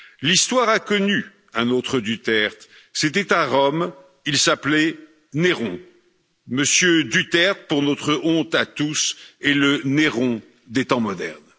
L'histoire a connu un autre Duterte, c'était à Rome, il s'appelait Néron. M. Duterte, pour notre honte à tous, est le Néron des temps modernes.